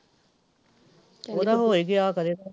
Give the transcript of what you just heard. ਓਹਦਾ ਹੋ ਈ ਗਿਆ ਖਰੇ